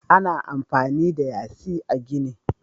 Ana amfani da yasi a gini.